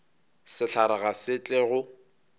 sehlare ga se tle go